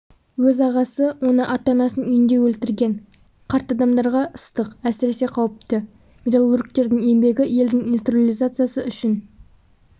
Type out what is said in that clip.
өз ағасы оны ата-анасының үйінде өлтірген қарт адамдарға ыстық әсіресе қауіпті металлургтердің еңбегі елдің индустриализациясы үшін